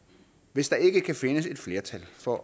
hvis der ikke kan findes et flertal for